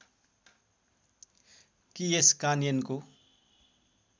कि यस कानयनको